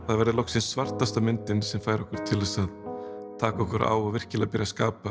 það verði loksins svartasta myndin sem fær okkur til að taka okkur á og virkilega byrja að skapa